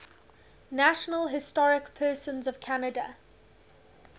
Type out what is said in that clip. national historic persons of canada